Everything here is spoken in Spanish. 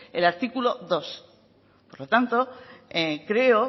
el artículo dos por lo tanto creo